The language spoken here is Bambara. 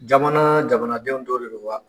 Jamanaa jamanadenw dɔ de don wa?